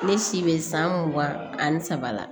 Ne si bɛ san mugan ani saba la